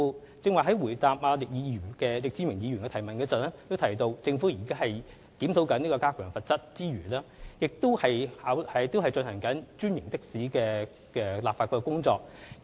我剛才回答易志明議員的主題質詢時亦提到，政府在檢討加強罰則之餘，亦已展開專營的士的立法工作。